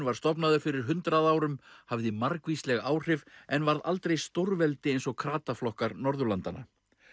var stofnaður fyrir hundrað árum hafði margvísleg áhrif en varð aldrei stórveldi eins og krataflokkar Norðurlandanna